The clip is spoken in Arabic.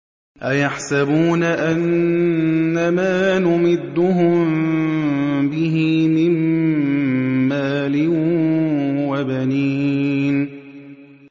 أَيَحْسَبُونَ أَنَّمَا نُمِدُّهُم بِهِ مِن مَّالٍ وَبَنِينَ